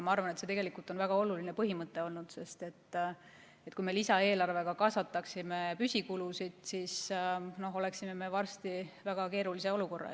Ma arvan, et see on tegelikult väga oluline põhimõte olnud, sest kui me lisaeelarvega kasvataksime püsikulusid, siis oleksime varsti väga keerulises olukorras.